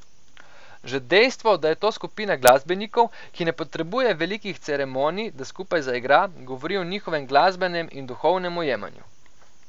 Že dejstvo, da je to skupina glasbenikov, ki ne potrebuje velikih ceremonij, da skupaj zaigra, govori o njihovem glasbenem in duhovnem ujemanju.